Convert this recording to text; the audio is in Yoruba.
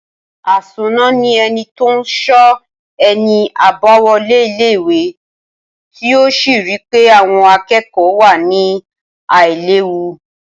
Asónà ni eni tó n so eni abáwolé ilé ìwé tí ó sì rí pé àwon akékòó wà ní àìléwu